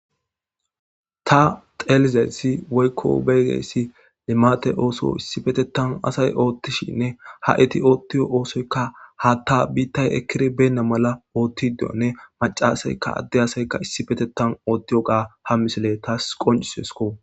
ta telizaytsi woykko beyozayssi limate ooso issi petetan asay oottishinne ha7iti oottio oosoykka ha ta biittay ekkiri beenna mala oottiddeonne macasayka adde asaykka issi petetan oottiyoga ha misile taas qonciseesko